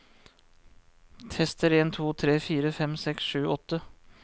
Tester en to tre fire fem seks sju åtte